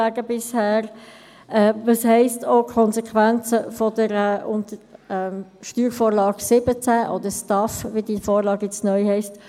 Welches sind die Konsequenzen der Steuervorlage 17 (SV17) des Bundes, oder von STAF, wie sie jetzt neu heisst?